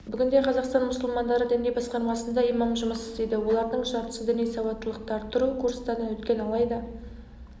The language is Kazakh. бүгінде қазақстан мұсылмандары діни басқармасында имам жұмыс істейді олардың жартысы діни сауаттылықты арттыру курстарынан өткен алайда